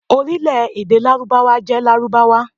Orílẹ̀ èdè Lárúbáwá jẹ́ Lárúbáwá.